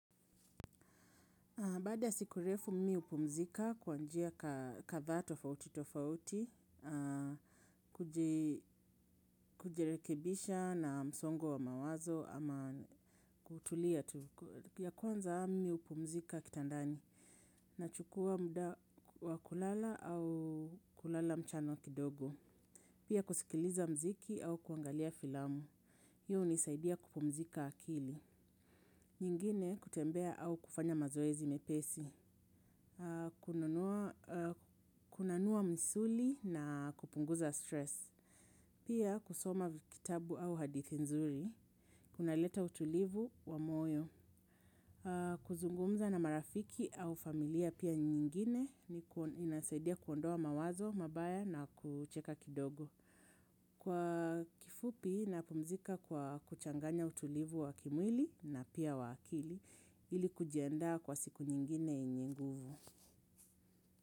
Baada ya siku refu mimi hupumzika kwa njia kadhaa tofauti tofauti, kujerekebisha na msongo wa mawazo ama kutulia ya kwanza mmi hupumzika kitandani. Nachukua muda wa kulala au kulala mchana kidogo. Pia kusikiliza mziki au kuangalia filamu. Hiyo hunisaidia kupumzika akili. Nyingine kutembea au kufanya mazoezi mepesi. Kunanua misuli na kupunguza stress. Pia kusoma kitabu au hadithi nzuri. Kunaleta utulivu wa moyo. Kuzungumza na marafiki au familia pia nyingine inasaidia kuondoa mawazo, mabaya na kucheka kidogo. Kwa kifupi napumzika kwa kuchanganya utulivu wa kimwili na pia wa akili. Ili kujiendaa kwa siku nyingine inyenguvu.